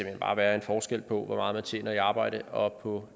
hen bare være en forskel på hvor meget man tjener i arbejde og på